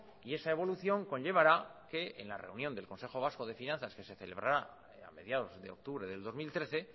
y esa evolución conllevará que en la reunión del consejo vasco de finanzas que se celebrará a mediados de octubre del dos mil trece